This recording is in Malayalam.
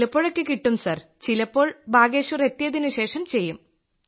ചിലപ്പോഴൊക്കെ കിട്ടും സർ ചിലപ്പോൾ ബാഗേശ്വർ എത്തിയതിനു ശേഷം ചെയ്യും